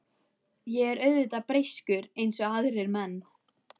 Ég er auðvitað breyskur eins og aðrir menn.